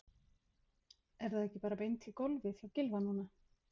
Er það ekki bara beint í golfið hjá Gylfa núna?